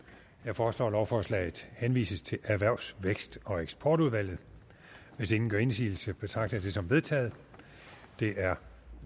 jeg foreslår at lovforslaget henvises til erhvervs vækst og eksportudvalget hvis ingen gør indsigelse betragter jeg det som vedtaget det er